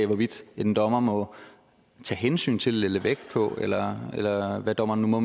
hvorvidt en dommer må tage hensyn til må lægge vægt på eller eller hvad dommeren nu må